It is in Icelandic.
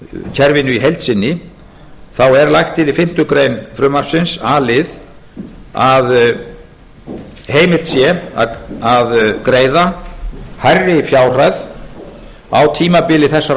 lífeyrissjóðakerfinu í heild sinni þá er lagt til í fimmtu grein frumvarpsins a lið að heimilt sé að greiða hærri fjárhæð á tímabili þessarar